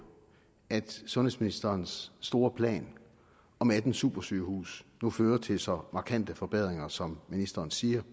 at sundhedsministerens store plan om atten supersygehuse nu fører til så markante forbedringer som ministeren siger